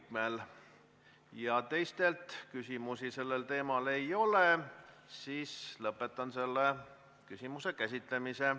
Kuna teistelt küsimusi sellel teemal ei ole, lõpetan selle teema käsitlemise.